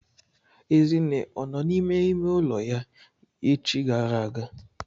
Ezinne ọ nọ n'ime ime ụlọ ya echi gara aga?